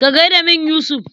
Ka gai da min Yusuf.